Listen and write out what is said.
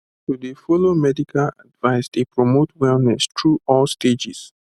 to dey follow medical advice dey promote wellness through all stages